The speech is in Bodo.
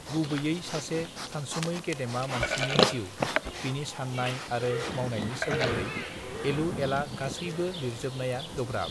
गुबैयै सासे सानसुमै गेदेमा मानसिनि जिउ बिनि साननाय आरो मावनायनि सोमोन्दै एलु एला गासैबो लिरजोबनाया गोब्राब